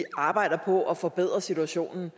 arbejder på at forbedre situationen